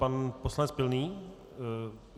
Pan poslanec Pilný.